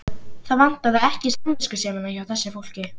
Það vantaði ekki samviskusemina hjá þessu fólki.